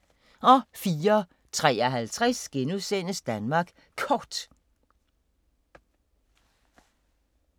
04:53: Danmark Kort *